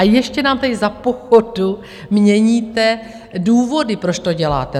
A ještě nám tady za pochodu měníte důvody, proč to děláte.